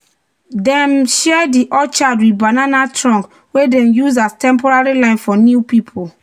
"dem share di orchard with banana trunk wey dem use as temporary temporary line for new people."